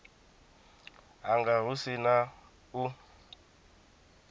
hanga hu si na u